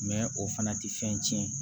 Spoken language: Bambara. o fana tɛ fɛn tiɲɛ